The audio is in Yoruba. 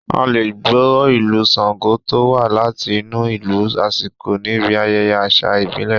A lè gbọ́ Ìlù Ṣango tó wá láti inú ìlù aṣíko níbi ayẹyẹ àṣà ìbílẹ̀